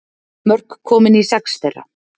Mörk komin í sex þeirra